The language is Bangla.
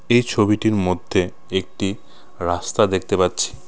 এই ছবিটির মধ্যে একটি রাস্তা দেখতে পাচ্ছি।